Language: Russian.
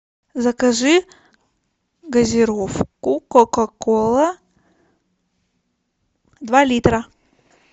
закажи газировку кока кола два литра